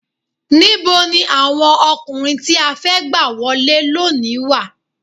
Níboni àwọn ọkùnrin tí a fẹ́ gbà wọlé lónìí wà?